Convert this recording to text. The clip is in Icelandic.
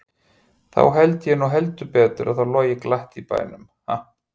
Þá held ég nú heldur betur að það logi glatt hér í bænum, ha!